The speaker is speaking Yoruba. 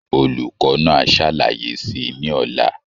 Olùkọ́ náà á ṣàlàyé si ní ọ̀la.